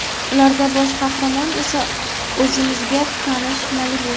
Ularda bosh qahramon esa o‘zimizga tanish Malibu.